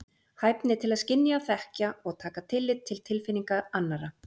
Hæfni til að skynja, þekkja og taka tillit til tilfinninga annarra.